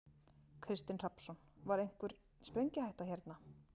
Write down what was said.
Kristinn Hrafnsson: Var einhvern sprengihætta hérna?